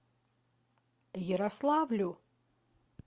ярославлю